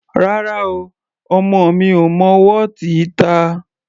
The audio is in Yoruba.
Rárá o, ọmọ mi ò mọ wọ́ọ̀tì ta.